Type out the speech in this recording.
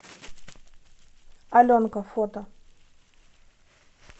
аленка фото